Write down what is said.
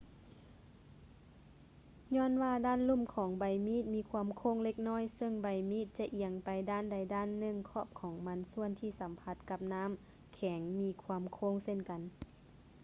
ຍ້ອນວ່າດ້ານລຸ່ມຂອງໃບມີດມີຄວາມໂຄ້ງເລັກນ້ອຍ ຊຶ່ງໃບມີດຈະອຽງໄປດ້ານໃດດ້ານໜຶ່ງ ຂອບຂອງມັນສ່ວນທີ່ສຳຜັດກັບນ້ຳແຂງກໍມີຄວາມໂຄ້ງເຊັ່ນກັນ